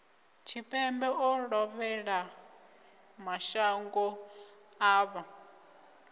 tshipembe o lovhelaho mashango ḓavha